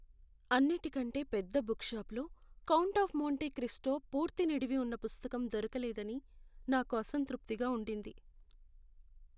అన్నిటికంటే పెద్ద బుక్ షాపులో "కౌంట్ ఆఫ్ మోంటే క్రిస్టో" పూర్తి నిడివి ఉన్న పుస్తకం దొరకలేదని నాకు అసంతృప్తిగా ఉండింది.